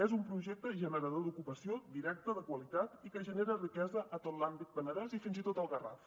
és un projecte generador d’ocupació directa de qualitat i que genera riquesa a tot l’àmbit penedès i fins i tot al garraf